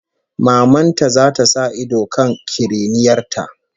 Maman ta zata sa ido kan kiriniyar ta